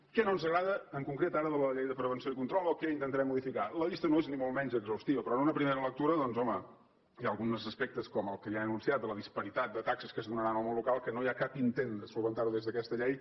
què no ens agrada en concret ara de la llei de prevenció i control o què intentarem modificar la llista no és ni molt menys exhaustiva però en una primera lectura doncs home hi ha alguns aspectes com el que ja he anunciat de la disparitat de taxes que es donarà en el món local que no hi ha cap intent de resoldre’ls des d’aquesta llei